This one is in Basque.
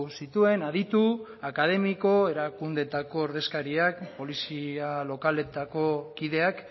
zituen aditu akademiko erakundeetako ordezkariak polizia lokaletako kideak